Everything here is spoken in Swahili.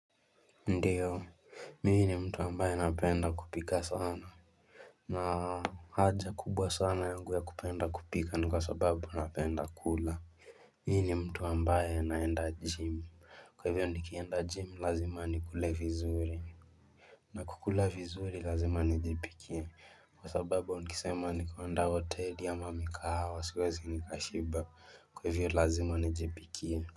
Ndiyo Mimi ni mtu ambaye napenda kupika sana haja kubwa sana yangu ya kupenda kupika ni kwa sababu napenda kula Mimi ni mtu ambaye naenda gym kwa hivyo nikienda gym lazima nikule vizuri na kukula vizuri lazima nijipikie kwa sababu nikisema ni kuenda hoteli ama mikahawa siwezi nikashiba kwa hivyo lazima nijipikie.